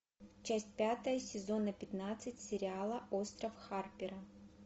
часть пятая сезона пятнадцать сериала остров харпера